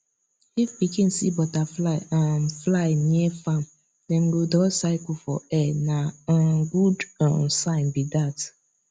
if pikin see butterfly um fly near farm dem go draw circle for air na um good um sign be that